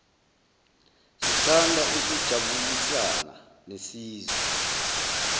sithanda ukujabulisana nesizwe